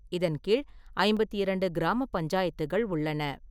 இதன் கீழ் ஐம்பத்தி இரண்டு கிராம பஞ்சாயத்துகள் உள்ளன.